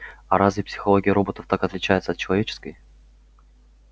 а разве психология роботов так отличается от человеческой